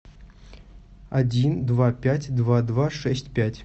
один два пять два два шесть пять